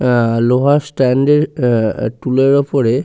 আহ লোহার স্ট্যান্ড -এ আহ টুলের ওপরে--